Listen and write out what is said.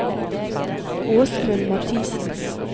Åsmund Mathisen